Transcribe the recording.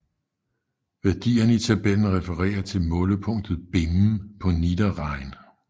Værdierne i tabellen refererer til målepunktet Bimmen på Niederrhein